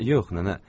Yox, nənə.